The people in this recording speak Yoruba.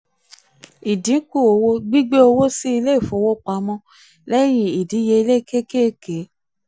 ìdínkù owó: gbigbẹ owó sí ilé-ifowopamọ́ lẹ́yìn ìdíyelé kékèké.